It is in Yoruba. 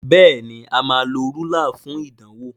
Béèni a má ló Rúlà fún ìdánwò.